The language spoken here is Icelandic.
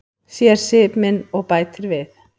Sér svip minn og bætir við.